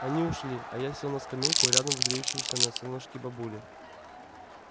они ушли а я сел на скамейку рядом с греющимся на солнышке бабулей